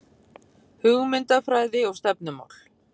Hugmyndafræði og stefnumál